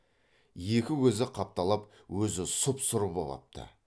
екі көзі қапталап өзі сұп сұр боп апты